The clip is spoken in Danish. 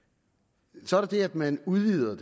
så er der det at man udvider